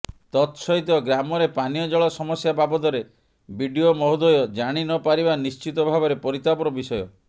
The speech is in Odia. ତତସହିତ ଗ୍ରାମରେ ପାନୀୟଜଳ ସମସ୍ୟା ବାବଦରେ ବିଡିଓ ମହୋଦୟ ଜାଣି ନ ପାରିବା ନିଶ୍ଚିତ ଭାବରେ ପରିତାପର ବିଷୟ